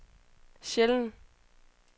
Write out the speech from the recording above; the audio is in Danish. sjældent